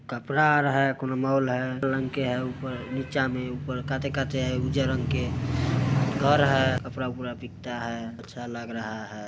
कपड़ा आर हैकोनो कुनु मॉल है है ऊपर निचा में ऊपर काते-काते उजर रंग के घर है कपड़ा पूरा उपड़ा बिकता है अच्छा लग रहा है।